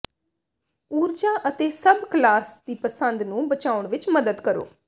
ਊਰਜਾ ਅਤੇ ਸਭ ਕਲਾਸ ਦੀ ਪਸੰਦ ਨੂੰ ਬਚਾਉਣ ਵਿੱਚ ਮਦਦ ਕਰੋ